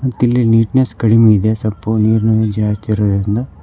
ಮತ್ತಿಲ್ಲಿ ನೀಟ್ನೆಸ್ ಕಡಿಮಿ ಇದೆ ಸ್ವಲ್ಪ ನೀರ ನೀರ ಜಾಸ್ತಿ ಇರೋದರಿಂದ.